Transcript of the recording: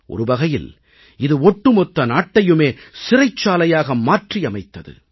ஒருவகையில் இது ஒட்டுமொத்த நாட்டையுமே சிறைச்சாலையாக மாற்றியமைத்தது